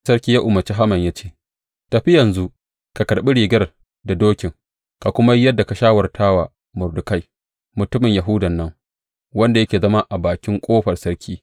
Sarki ya umarci Haman ya ce, Tafi yanzu ka karɓi rigar da dokin, ka kuma yi yadda ka shawarta wa Mordekai, mutumin Yahudan nan, wanda yake zama a bakin ƙofar sarki.